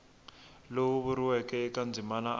lowu vuriweke eka ndzimana a